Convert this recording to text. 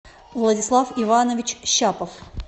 владислав иванович щапов